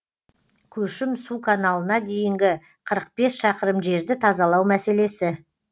көшім су каналына дейінгі қырық бес шақырым жерді тазалау мәселесі